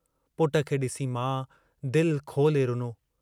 पुट खे डिसी माउ दिल खोले रुनो।